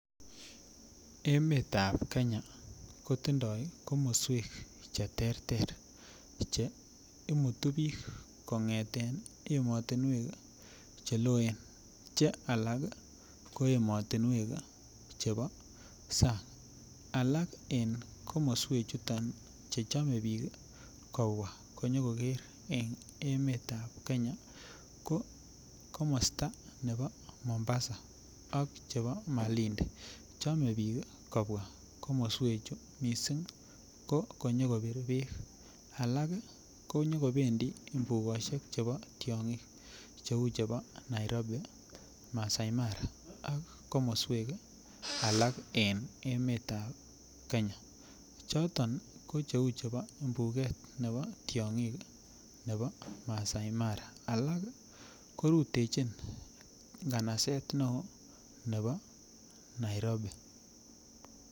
Emetab kenya kotindoo komoswek cheterter che imutu biik kong'eten emotinwek cheloen che alak ii ko emotinwek chebo sang, alak en komoswechuton che chome biik kobwa konyo koker en emetab kenya ,ko komosta ne bo Mombasa ak chebo Malindi chome biik kobwa komoswechu missing ko konyo kobir beek, alak ii konyo kobendi mbukosiek che bo tiong'ik cheu che bo Nairobi, Masai Mara ak komoswek alak en emetab Kenya, choto ko cheu chebo mbuket ne bo tiong'ik ne bo Masai Mara ,alak ii korutechin ng'anaset ne oo ne bo Nairobi.